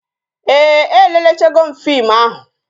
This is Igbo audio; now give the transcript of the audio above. Ee, e lelechego m fim ahụ